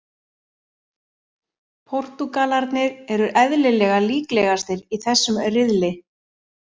Portúgalarnir eru eðlilega líklegastir í þessum riðli.